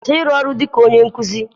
Kwụsị ọrụ gị dịka onye nkuzi!